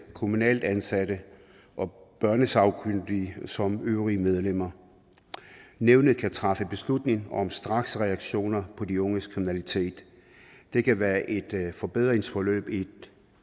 kommunalt ansatte og børnesagkyndige som øvrige medlemmer nævnet kan træffe beslutning om straksreaktioner på de unges kriminalitet det kan være et forbedringsforløb i